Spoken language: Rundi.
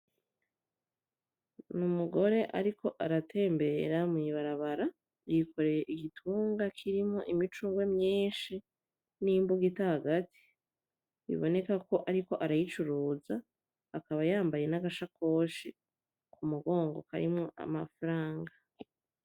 Ni umugore ariko aratembera mw'ibarabara yikoreye igitunga kirimwo imicungwe myinshi n'imbugita hagati biboneka ko ariko arayicuruza akaba yambaye n'agashakoshi ku mugongo karimwo amafaranga.